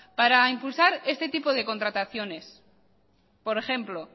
para impulsar este tipo de contrataciones por ejemplo